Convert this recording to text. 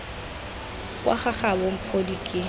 kwa ga gabo mphodi ke